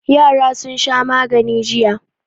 Yara sun sha magani jiya.